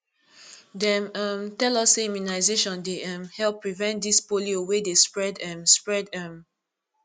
dem um tell us sey immunization dey um help prevent dis polio wey dey spread um spread um